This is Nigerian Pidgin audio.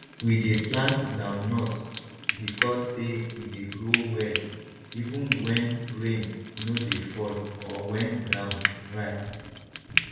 we dey plant groundnut because say e dey grow well even when rain no dey fall or when ground dry